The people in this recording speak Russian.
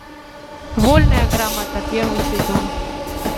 вольная грамота первый сезон